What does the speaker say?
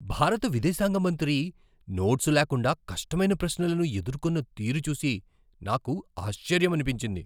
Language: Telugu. భారత విదేశాంగ మంత్రి నోట్స్ లేకుండా కష్టమైన ప్రశ్నలను ఎదుర్కున్న తీరు చూసి నాకు ఆశ్చర్యమనిపించింది!